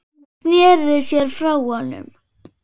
Hún sneri sér frá honum.